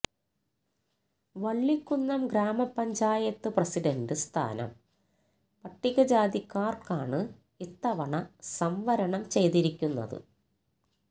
വള്ളിക്കുന്നം ഗ്രാമപഞ്ചായത്ത് പ്രസിഡന്റ് സ്ഥാനം പട്ടികജാതിക്കാര്ക്കാണ് ഇത്തവണ സംവരണം ചെയ്തിരിക്കുന്നത്